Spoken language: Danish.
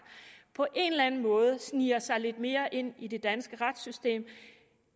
på en eller anden måde sniger sig lidt mere ind i det danske retssystem